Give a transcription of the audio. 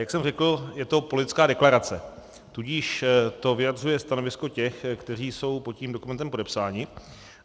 Jak jsem řekl, je to politická deklarace, tudíž to vyjadřuje stanovisko těch, kteří jsou pod tím dokumentem podepsáni.